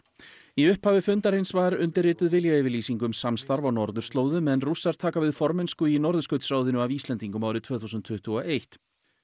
í upphafi fundarins var undirrituð viljayfirlýsing um samstarf á norðurslóðum en Rússar taka við formennsku í Norðurskautsráðinu af Íslendingum árið tvö þúsund tuttugu og eitt